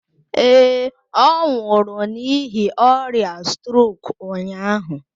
Ee, ọ nwụrụ n'ihi ọrịa strok ụnyahụ.